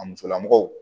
A musolamɔgɔw